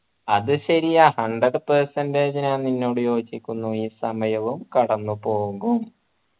അത് ശരിയാ hundred percentage ഞാൻ നിന്നോട് യോജിക്കുന്നു ഈ സമയവും കടന്നു പോകും